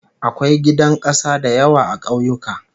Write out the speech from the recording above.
Akwai gidan kasa da yawa a ƙauyuka